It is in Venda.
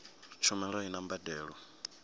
tshumelo a i na mbadelo